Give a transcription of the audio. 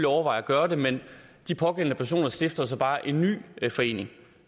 overveje at gøre det men de pågældende personer stifter så bare en ny forening